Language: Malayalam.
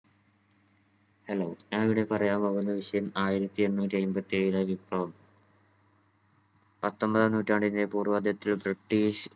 hello ഞാനിവിടെ പറയാൻ പോകുന്ന വിഷയം ആയിരത്തി എണ്ണൂറ്റി അയ്മ്പത്തി ഏഴിലെ വിപ്ലവം. പത്തൊമ്പതാം നൂറ്റാണ്ടിന്റെ പൂർവാതിതൃ british